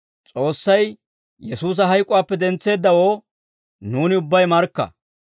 «S'oossay Yesuusa hayk'uwaappe dentseeddawoo nuuni ubbay markka.